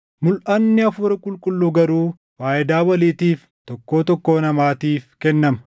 Mulʼanni Hafuura Qulqulluu garuu faayidaa waliitiif tokkoo tokkoo namaatiif kennama.